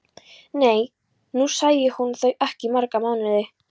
Nú sæi hún þau ekki í marga mánuði.